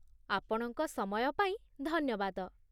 ଆପଣଙ୍କ ସମୟ ପାଇଁ ଧନ୍ୟବାଦ!